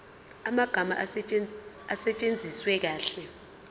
amagama asetshenziswe kahle